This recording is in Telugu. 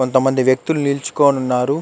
కొంత మంది వెక్తులు నిలుచుకొని ఉన్నారు.